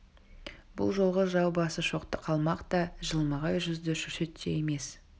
бұл жолғы жау басы шоқты қалмақ та жылмағай жүзді шүршіт те емес